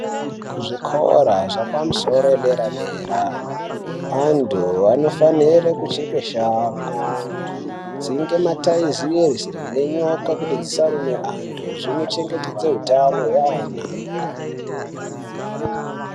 Kuzvikora zvapamusoro yedera dera anthu anofanire kucheka shango kudzinge mataizeze nenyoka kuti dzisarume anthu zvinochengetedza hutano hweana.